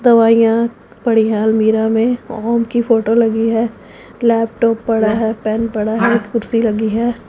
दवाइयां पड़ी हैं अलमीरा में ओम की फोटो लगी है लैपटॉप पड़ा है पेन पड़ा है कुर्सी लगी है।